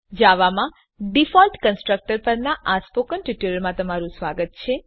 જાવામાં default constructor પરનાં spoken ટ્યુટોરીયલમાં સ્વાગત છે